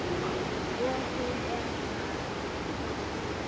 Og hún er þar.